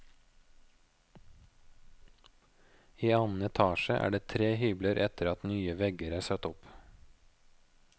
I annen etasje er det tre hybler etter at nye vegger er satt opp.